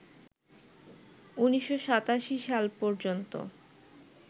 ১৯৮৭ সাল পর্যন্ত